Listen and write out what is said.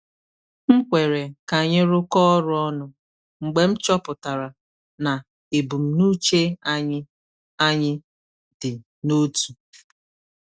M kwere ka anyị rụkọ ọrụ ọnụ mgbe m chọpụtara na ebumnuche anyị anyị dị n’otu.